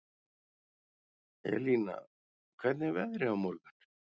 Elina, hvernig er veðrið á morgun?